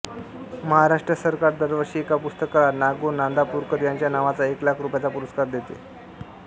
महाराष्ट्र सरकार दरवर्षी एका पुस्तकाला ना गो नांदापूरकर यांच्या नावाचा एक लाख रुपयाचा पुरस्कार देते